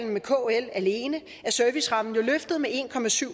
med kl alene er servicerammen jo løftet med en